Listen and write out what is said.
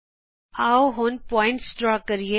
ਆਉ ਹੁਣ ਅਸੀਂ ਬਿੰਦੂ ਖਿਚੀਏ